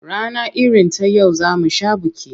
Rana irin ta yau za mu sha biki.